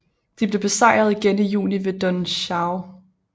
De blev besejret igen i juni ved Don Xoai